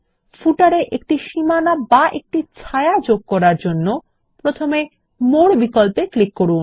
পাদলেখ তে এ একটি সীমানা বা একটি ছায়া যোগ করার জন্য প্রথমে মোর বিকল্পে যান